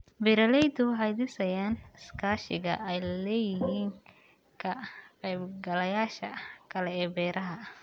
Beeraleydu waxay dhisayaan iskaashiga ay la leeyihiin ka-qaybgalayaasha kale ee beeraha.